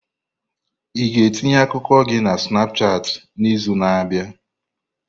Ị ga-etinye akụkọ gị na Snapushat n'izu na-abịa?